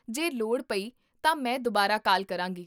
ਜੇ ਲੋੜ ਪਈ ਤਾਂ ਮੈਂ ਦੁਬਾਰਾ ਕਾਲ ਕਰਾਂਗੀ